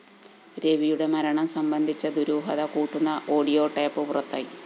രവിയുടെ മരണം സംബന്ധിച്ച ദുരൂഹത കൂട്ടുന്ന ഓഡിയോ ടേപ്പ്‌ പുറത്തായി